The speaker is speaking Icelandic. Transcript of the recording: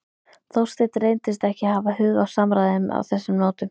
Þorsteinn reyndist ekki hafa hug á samræðum á þessum nótum.